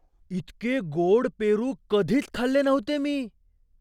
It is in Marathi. इतके गोड पेरू कधीच खाल्ले नव्हते मी!